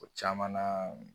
O caman na